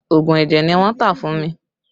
Oogun ẹ̀jẹ̀ ni wọ́n tà fún mi